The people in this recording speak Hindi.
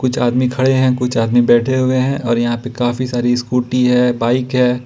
कुछ आदमी खड़े हैं कुछ आदमी बैठे हुए हैं और यहां पर काफी सारी स्कूटी है बाइक है।